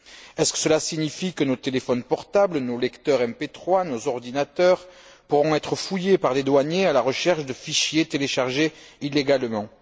Est ce que cela signifie que nos téléphones portables, nos lecteurs MP3, nos ordinateurs, pourront être fouillés par les douaniers à la recherche de fichiers téléchargés illégalement?